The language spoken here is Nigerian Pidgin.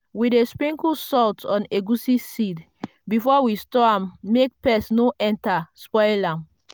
we dey sprinkle salt on egusi seed before we store am make pest no enter spoil am.